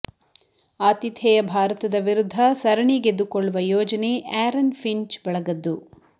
ಆತಿಥೇಯ ಭಾರತದ ವಿರುದ್ಧ ಸರಣಿ ಗೆದ್ದುಕೊಳ್ಳುವ ಯೋಜನೆ ಆ್ಯರನ್ ಫಿಂಚ್ ಬಳಗದ್ದು